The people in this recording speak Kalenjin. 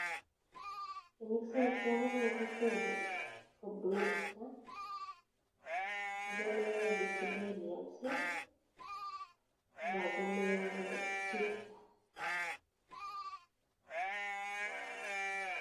Tienik chiachame en kokwet nyo ko Brunistar, achame VickyBrilliance ak achame Sweetstar .